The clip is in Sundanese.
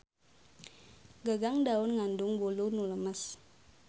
Gagang daun ngandung bulu nu lemes.